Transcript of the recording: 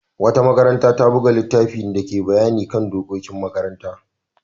Wata makaranta ta buga littafin dake bayani kan dokokin makaranta.